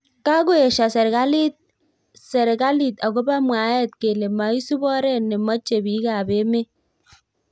Kakoesho serekalit akobo mwaet kele maisub oret nemoche bik ab emet.